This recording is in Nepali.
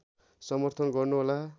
समर्थन गर्नु होला